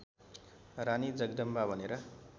रानी जगदम्बा भनेर